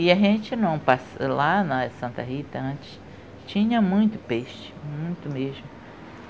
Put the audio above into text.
E a gente, lá na Santa Rita, antes tinha muito peixe, muito mesmo.